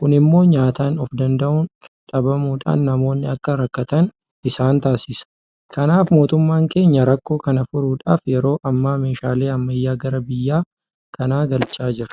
Kun immoo nyaataan ofdanda'uun dhabamuudhaan namoonni akka rakkatan isaan taasisa. Kanaaf mootummaan keenya rakkoo kana furuudhaaf yeroi ammaa meeshaalee ammayyaa gara biyya kanaa galchaa jira.